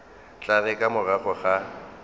tla re ka morago ga